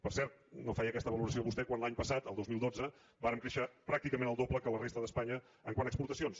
per cert no feia aquesta valoració vostè quan l’any passat el dos mil dotze vàrem créixer pràcticament el doble que la resta d’espanya quant a exportacions